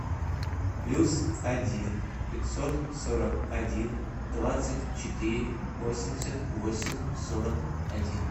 плюс один пятьсот сорок один двадцать четыре восемьдесят восемь сорок один